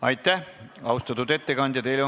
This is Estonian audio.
Aitäh, austatud ettekandja!